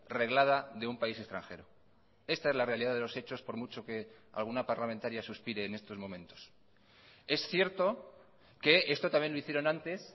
reglada de un país extranjero esta es la realidad de los hechos por mucho que alguna parlamentaria suspire en estos momentos es cierto que esto también lo hicieron antes